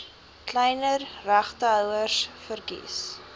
kleiner regtehouers verkies